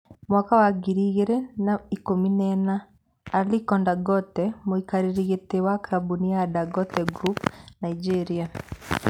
2014 - Aliko Dangote, mũikarĩri giti wa kambuni ya Dangote Group, Nigeria.